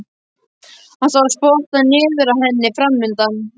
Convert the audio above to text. Hann sá spottann niður að henni framundan.